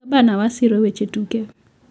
gabna waa siro weche tuke